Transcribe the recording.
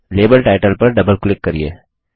label title पर double click करिये